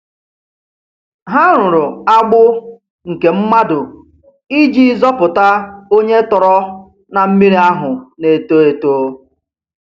Ha rụrụ agbụ nke mmadụ iji zọpụta onye tọrọ na mmiri ahụ na-eto eto.